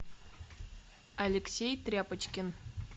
алексей тряпочкин